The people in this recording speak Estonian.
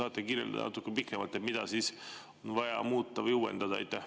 Kas te saate natuke pikemalt kirjeldada, mida on vaja muuta või uuendada?